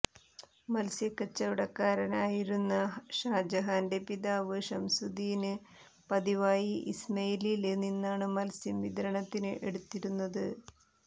മത്സ്യ കച്ചവടക്കാരനായിരുന്ന ഷാജഹാന്റെ പിതാവ് ഷംസുദീന് പതിവായി ഇസ്മയിലില് നിന്നാണു മത്സ്യം വിതരണത്തിന് എടുത്തിരുന്നത്